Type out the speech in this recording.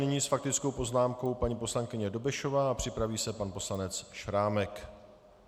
Nyní s faktickou poznámkou paní poslankyně Dobešová a připraví se pan poslanec Šrámek.